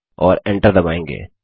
और एंटर दबायेंगे